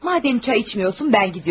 Madam çay içmirsən, mən gedirəm.